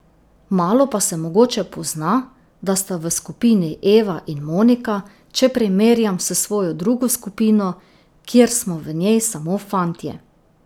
Malo pa se mogoče pozna, da sta v skupini Eva in Monika, če primerjam s svojo drugo skupino, kjer smo v njej samo fantje.